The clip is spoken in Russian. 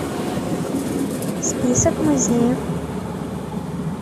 список музеев